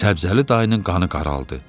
Səbzəli dayının qanı qaraldı.